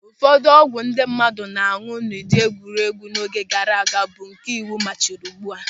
Ụfọdụ ọgwụ ndị mmadụ na-añụ n'ụdị egwuregwu n'oge gaara aga bụ nke iwu ma chịrị ugbu a.